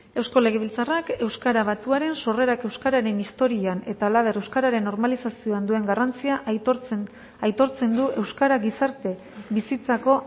eusko legebiltzarrak euskara batuaren sorrerak euskaren historian eta halaber euskararen normalizazioan duen garrantzia aitortzen du euskara gizarte bizitzako